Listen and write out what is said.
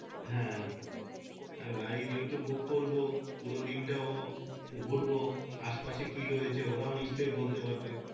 হ্যাঁ আর গাড়ি যেহেতু book করবো পুরো দিনটাও ঘুরবো আশেপাশে কিরয়েছে ওরা নিশ্চই বলতে পারবে।